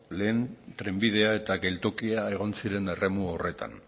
lehen trenbidea eta geltokia egon ziren eremu horretan